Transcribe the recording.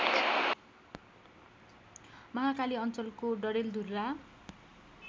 महाकाली अञ्चलको डडेलधुरा